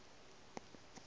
se otile o be o